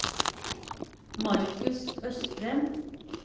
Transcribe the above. Markus Østrem